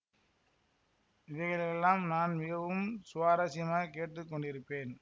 இவைகளையெல்லாம் நான் மிகவும் சுவாரஸ்யமாகக் கேட்டு கொண்டிருப்பேன்